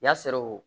Y'a sɔrɔ o